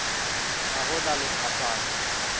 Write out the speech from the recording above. ha ho na le phapano